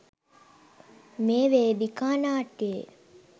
මේ වේදිකා නාට්‍යයේ